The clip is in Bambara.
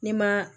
Ne ma